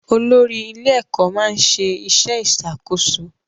Olórí ilé-ẹ̀kọ́ máa ń ṣe iṣẹ́ ìṣàkóso